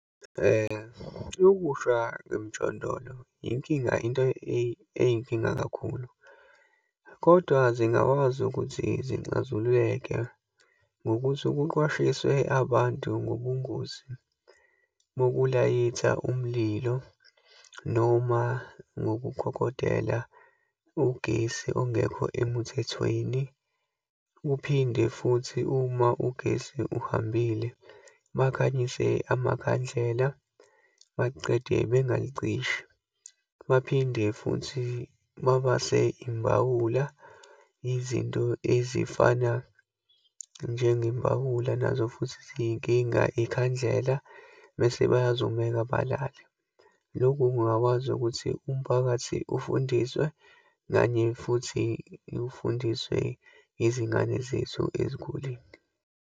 Ukusha kwemijondolo yinkinga, into eyinkinga kakhulu, kodwa zingakwazi ukuthi zinxazululeke ngokuthi kuqwashiswe abantu ngobungozi uma kulayitha umlilo, noma ngokukokotela ugesi ongekho emuthethweni, uphinde futhi uma ugesi uhambile, bakhanyise amakhandlela, baqede bengayicishi. Baphinde futhi babase imbawula. Izinto ezifana njengembawula nazo futhi ziyinkinga. Ikhandlela mese bayazumeka balale. Loku kungakwazi ukuthi umphakathi ufundiswe, kanye futhi ufundiswe izingane zethu ezikoleni.